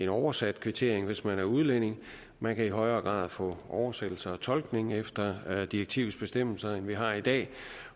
oversat kvittering hvis man er udlænding man kan i højere grad få oversættelser og tolkning efter direktivets bestemmelser end vi har i dag